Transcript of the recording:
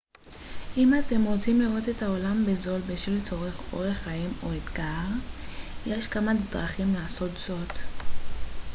אם אתם רוצים לראות את העולם בזול בשל צורך אורח חיים או אתגר יש כמה דרכים לעשות זאת